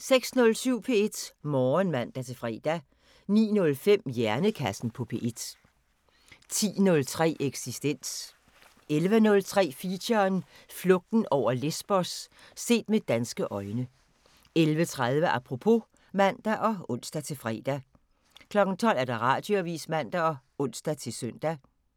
06:07: P1 Morgen (man-fre) 09:05: Hjernekassen på P1 10:03: Eksistens 11:03: Feature: Flugten over Lesbos – set med danske øjne 11:30: Apropos (man og ons-fre) 12:00: Radioavisen (man og ons-søn)